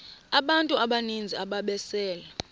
abantu abaninzi ababesele